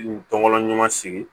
N tɔbɔla ɲuman sigi